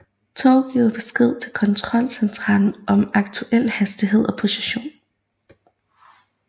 Tog giver besked til kontrolcentralen om aktuel hastighed og position